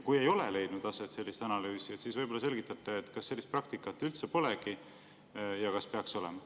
Kui ei ole leidnud aset sellist analüüsi, siis võib-olla selgitate, kas sellist praktikat üldse polegi ja kas peaks olema.